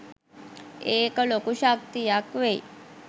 ඒක ලොකු ශක්තියක් වෙයි